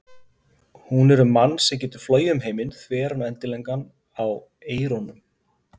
Hún er um mann sem getur flogið um heiminn þveran og endilangan á eyrunum.